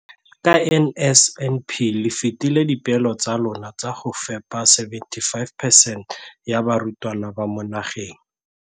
Ka NSNP le fetile dipeelo tsa lona tsa go fepa 75 percent ya barutwana ba mo nageng.